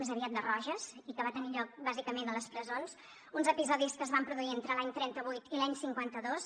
més aviat de roges i que va tenir lloc bàsicament a les presons uns episodis que es van produir entre l’any trenta vuit i l’any cinquanta dos